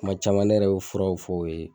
Kuma caman ne yɛrɛ bi furaw fɔ u ye.